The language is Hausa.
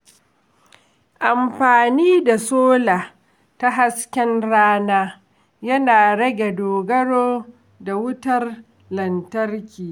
Amfani da sola ta hasken rana yana rage dogaro da wutar lantarki.